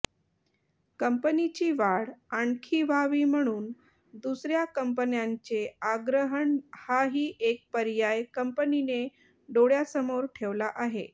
कंपनीची वाढ आणखी व्हावी म्हणून दुसऱ्या कंपन्यांचे आग्रहण हाही एक पर्याय कंपनीने डोळ्यासमोर ठेवला आहे